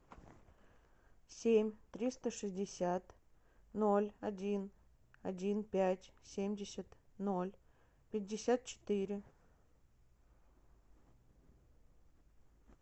семь триста шестьдесят ноль один один пять семьдесят ноль пятьдесят четыре